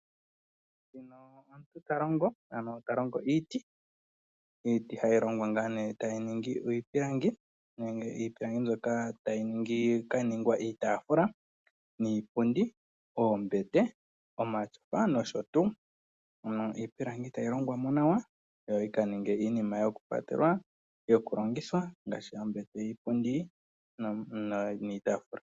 Nguno omuntu ta longo iiti ano ta longo iiti, iiti hayi longwa ngaa ne tayi ningi iipilangi mbyoka tayi ka ningwa iitafula niipundi, oombete omatyofa no sho tuu. Ano iipalangi tayi longwa mo nawa yo yika ninge iinima yo ku kwa telwa yo ku longithwa ngaashi oombete, iipundi niitaafula.